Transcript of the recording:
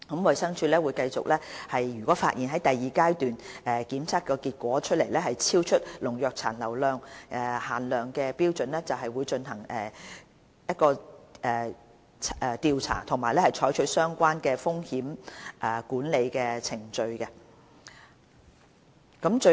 衞生署如發現第二階段檢測結果超出農藥殘留限量標準，會進行調查和採取相關的風險管理程序。